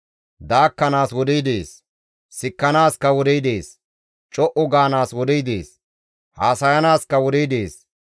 Daakkanaas wodey dees; sikkanaaska wodey dees. Co7u gaanaas wodey dees; haasayanaaskka wodey dees.